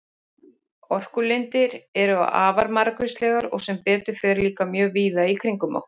Orkulindir eru afar margvíslegar og sem betur fer líka mjög víða í kringum okkur.